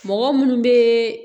Mɔgɔ munnu be